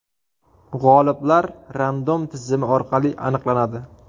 G‘oliblar Random tizimi orqali aniqlanadi.